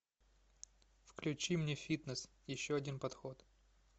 включи мне фитнес еще один подход